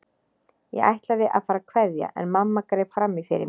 Ég ætlaði að fara að kveðja en mamma greip fram í fyrir mér.